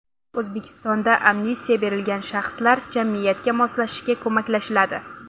O‘zbekistonda amnistiya berilgan shaxslar jamiyatga moslashishiga ko‘maklashiladi.